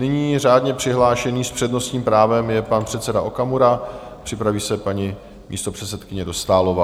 Nyní řádně přihlášený s přednostním právem je pan předseda Okamura, připraví se paní místopředsedkyně Dostálová.